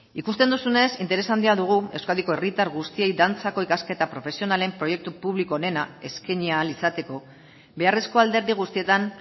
ikusten duzunez interes handia dugu euskadiko herritar guztiei dantzako ikasketa profesionalen proiektu publiko onena eskaini ahal izateko beharrezko alderdi guztietan